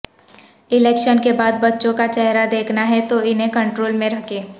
election کے بعد بچوں کا چہرہ دیکھنا ہے تو انہیں کنٹرول میں رکھیں